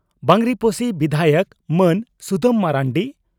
ᱵᱟᱸᱜᱽᱨᱤᱯᱚᱥᱤ ᱵᱤᱫᱷᱟᱭᱚᱠ ᱢᱟᱹᱱ ᱥᱩᱫᱟᱢ ᱢᱟᱨᱱᱰᱤ